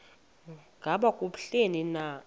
ngaba kubleni na